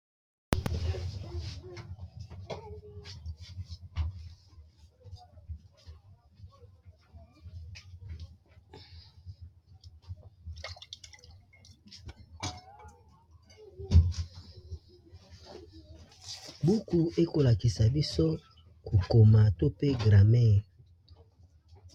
Buku ekolakisa biso kokoma to pe grammaire.